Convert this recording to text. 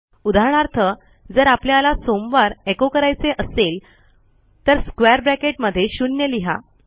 उदाहरणार्थ जर आपल्याला मोंडे एचो करायचे असेल तर स्क्वेअर ब्रॅकेटमध्ये शून्य लिहा